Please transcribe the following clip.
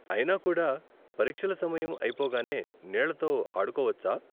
అయినా కూడా పరీక్షల సమయం అయిపోగానే నీళ్ళతో ఆడుకోవచ్చా?